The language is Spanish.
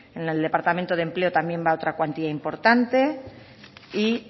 en el departamento de empleo también va otra cuantía importante y